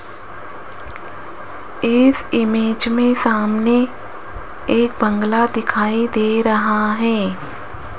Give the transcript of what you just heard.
इस इमेज में सामने एक बंगला दिखाई दे रहा है।